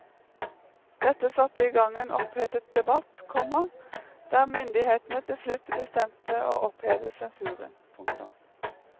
Dette satte i gang en opphetet debatt, komma der myndighetene til slutt bestemte å oppheve sensuren. punktum